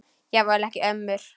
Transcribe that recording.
Jafnvel ekki ömmur.